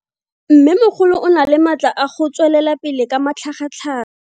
Mmêmogolo o na le matla a go tswelela pele ka matlhagatlhaga.